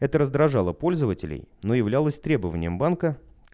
это раздражало пользователей но являлось требованием банка